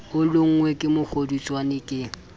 o lonngwe ke mokgodutswane ke